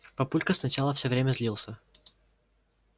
папулька сначала всё время злился